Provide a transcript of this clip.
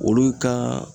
Olu ka